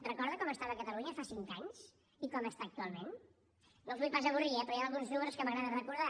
recorda com estava catalunya fa cinc anys i com està actualment no els vull pas avorrir eh però hi han alguns números que m’agrada recordar